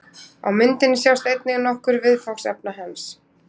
Á myndinni sjást einnig nokkur viðfangsefna hans.